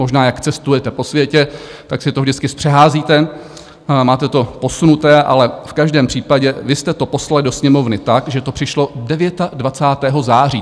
Možná jak cestujete po světě, tak si to vždycky zpřeházíte, máte to posunuté, ale v každém případě vy jste to poslali do Sněmovny tak, že to přišlo 29. září.